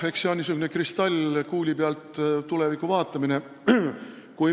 Eks see ole niisugune kristallkuuli pealt tuleviku vaatamine.